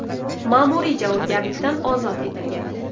ma’muriy javobgarlikdan ozod etilgan.